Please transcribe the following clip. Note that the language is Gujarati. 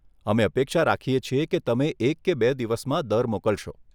અમે અપેક્ષા રાખીએ છીએ કે તમે એક કે બે દિવસમાં દર મોકલશો.